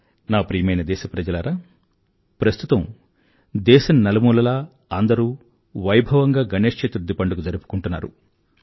నా ప్రియమైన దేశప్రజలారా ప్రస్తుతం దేశం నలుమూలలా అందరూ వైభవంగా గణేశ చతుర్థి పండుగ జరుపుకుంటున్నారు